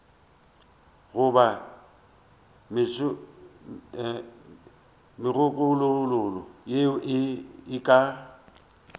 goba megololo yeo e ka